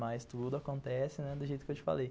Mas tudo acontece, né, do jeito que eu te falei.